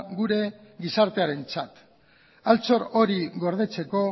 gure gizartearentzat altxor hori gordetzeko